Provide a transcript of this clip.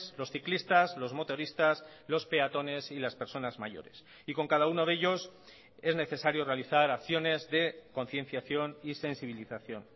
los ciclistas los motoristas los peatones y las personas mayores y con cada uno de ellos es necesario realizar acciones de concienciación y sensibilización